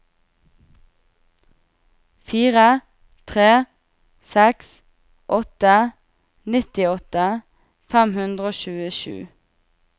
fire tre seks åtte nittiåtte fem hundre og tjuesju